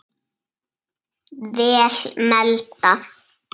Vel meldað.